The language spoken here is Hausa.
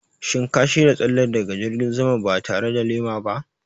Shin ka shirya tsalle daga jirgin sama ba tare da lema ba?